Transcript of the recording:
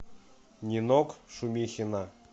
нинок шумихина